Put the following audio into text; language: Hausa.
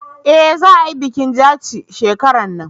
eh za a yi bikin jaci shekaran nan